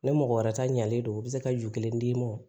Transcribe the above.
Ni mɔgɔ wɛrɛ ta ɲalen don u bɛ se ka ju kelen d'i ma